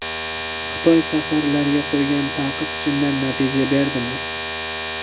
Xitoy safarlarga qo‘ygan taqiq chindan natija berdimi?